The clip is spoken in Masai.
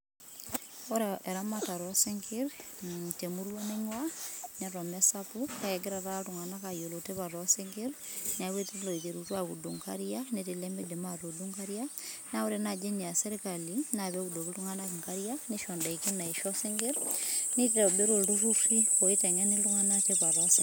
Ore eramatare oo sinkirr te emurrua natii neton meesapuk kake egira taata iltung'anak aayiolou tipat oo sinkirr, neeku etii iloiterutua aaudu inkariak, netii ilemeidim aatuudu inkariak naa ore naaji eniaas sirkali naa pee eudoki iltung'anak inkarrak neisho indaiki naaisho isinkirr, nitobiru ilturruri oiteng'eni iltung'anak tipat oo sinkirr.